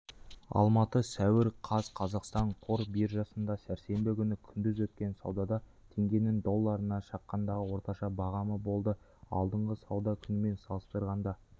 алматы сәуір қаз қазақстан қор биржасында сәрсенбі күні күндіз өткен саудада теңгенің долларына шаққандағы орташа бағамы болды алдыңғы сауда күнімен салыстырғанда